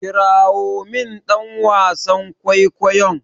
Kirawo min dan wasan kwaikwayon!